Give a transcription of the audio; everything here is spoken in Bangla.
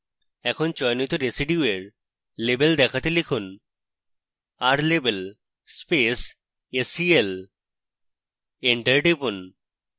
এখন চয়নিত residue এর label দেখাতে লিখুন rlabel space sel এন্টার টিপুন